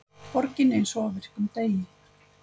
Borgin eins og á virkum degi